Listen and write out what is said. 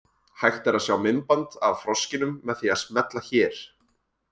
Hægt er að sjá myndband af froskinum með því að smella hér.